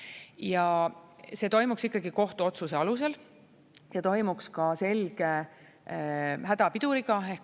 Ja see toimuks ikkagi kohtuotsuse alusel ja toimuks ka selge hädapiduriga.